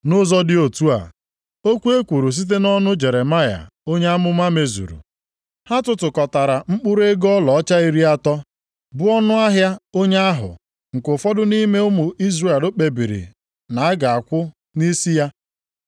Nʼụzọ dị otu a, okwu e kwuru site nʼọnụ Jeremaya onye amụma mezuru. “Ha tụtụkọtara mkpụrụ ego ọlaọcha iri atọ, bụ ọnụahịa onye ahụ, nke ụfọdụ nʼime ụmụ Izrel kpebiri na a ga-akwụ nʼisi ya.